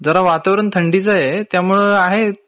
जरा वातावरण थंडीच आहे.त्यामुळ आहे